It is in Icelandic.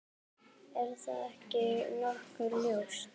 Er það ekki nokkuð ljóst?